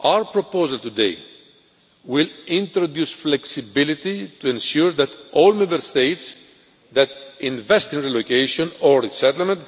Our proposal today will introduce flexibility to ensure that all Member States that invest in relocation or resettlement